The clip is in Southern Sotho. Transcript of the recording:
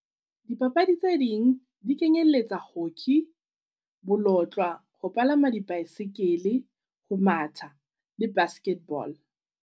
Dipapadi tse ding di kenyelletsa hockey, bolotlwa, ho palama di-bicycle, ho matha le basketball.